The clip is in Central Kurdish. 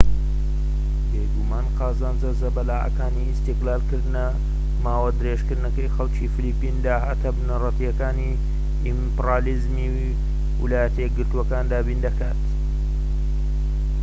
بێگومان قازانجە زەبەلاحەکانی ئیستیغلالکردنە ماوەدرێژەکەی خەلکی فلیپین داهاتە بنەرەتیەکانی ئیمپریالیزمی ویلایەتە یەکگرتوەکان دابین دەکات